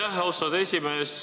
Aitäh, austatud esimees!